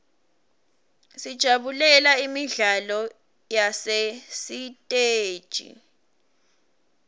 sijabulela imidlalo yasesiteji